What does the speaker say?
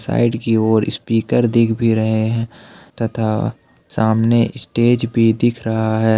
Side की ओर speaker दिख भी रहे हैं तथा सामने स्टेज भी दिख रहा है ।